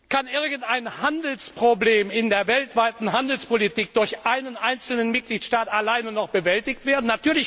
Kann irgendein Handelsproblem in der weltweiten Handelspolitik durch einen einzelnen Mitgliedstaat allein noch bewältigt werden?